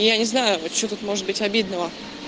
я не знаю вот что тут может быть обидного